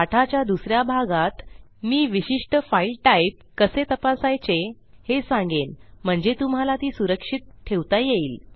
पाठाच्या दुस या भागात मी विशिष्ट फाईल टाईप कसे तपासायचे हे सांगेन म्हणजे तुम्हाला ती सुरक्षित ठेवता येईल